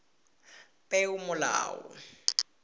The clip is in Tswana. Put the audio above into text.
peomolao